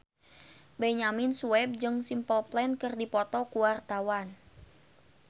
Benyamin Sueb jeung Simple Plan keur dipoto ku wartawan